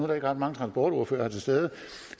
der ikke ret mange transportordførere til stede